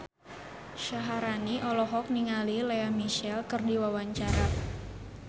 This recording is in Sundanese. Syaharani olohok ningali Lea Michele keur diwawancara